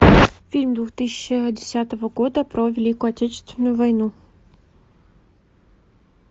фильм две тысячи десятого года про великую отечественную войну